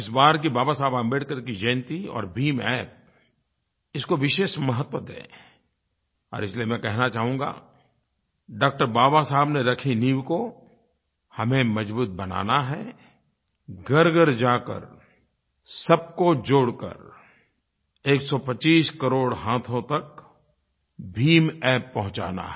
इस बार की बाबा साहेब अम्बेडकर की जयंती और भीम अप्प इसको विशेष महत्व दें और इसलिये मैं कहना चाहूँगा डॉ बाबा साहेब ने रखी नींव को हमें मज़बूत बनाना है घरघर जाकर सबको जोड़ कर 125 करोड़ हाथों तक भीम App पहुँचाना है